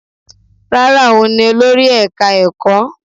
Rárá, òun ni olórí ẹka ẹ̀kọ́.